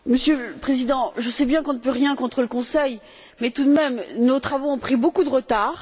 Monsieur le Président, je sais bien qu'on ne peut rien contre le Conseil, mais tout de même, nos travaux ont pris beaucoup de retard.